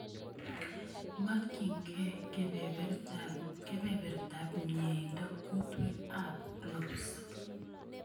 Makyinge kebebertab myeindo kuutweet ak klofs